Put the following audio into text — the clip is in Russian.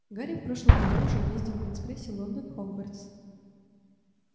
гарри в прошлом году уже ездил на экспрессе лондон хогвартс